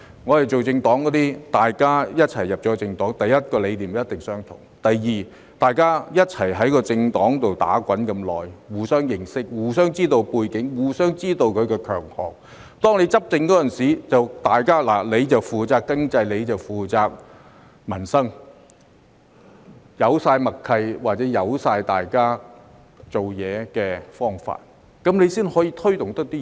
我們組政黨的，大家一起加入政黨，第一，理念一定相同；第二，大家共同在政黨內打滾那麼久，互相認識，知道對方的背景和強項，執政時便分工，有人負責經濟、有人負責民生，已有足夠默契，或知道對方的工作方法，這樣才能推動工作。